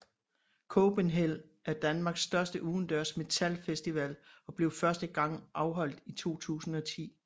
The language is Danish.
Copenhell er Danmarks største udendørs metalfestival og blev første gang afholdt i 2010